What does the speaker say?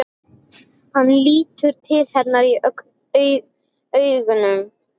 Hann lítur til hennar önugur.